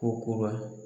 Ko kura